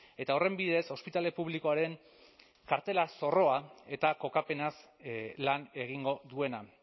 eta horren bidez ospitale publikoaren kartela zorroa eta kokapenaz lan egingo duena